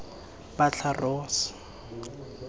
batlharos